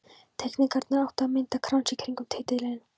Teikningarnar áttu að mynda krans í kringum titilinn.